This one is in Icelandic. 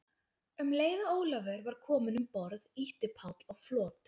Um leið og Ólafur var kominn um borð, ýtti Páll á flot.